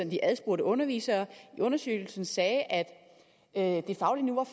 de adspurgte undervisere i undersøgelsen sagde at at det faglige niveau